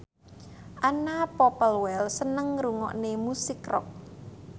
Anna Popplewell seneng ngrungokne musik rock